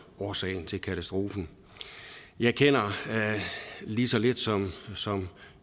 årsagen til katastrofen jeg kender lige så lidt som som